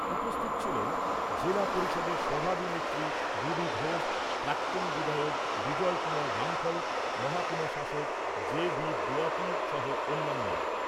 উপস্থিত ছিলেন জেলা পরিষদের সভাধিনেত্রী রুবি ঘোষ, প্রাক্তন বিধায়ক বিজয় কুমার রাঙ্খল, মহকুমা শাসক জে ভি দোয়াতি সহ অন্যান্যরা।